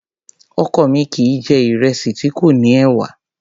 Ọkọ mi kìí jẹ̀ ìrẹsì tí kò ní ẹ̀wà.